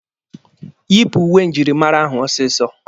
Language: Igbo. Yịpụ uwe njirimara ahụ ọsịsọ!